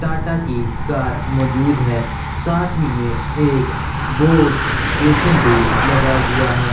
टाटा की कार मौजूद है साथ ही में एक बोस बेशन भी लगा हुआ हैं।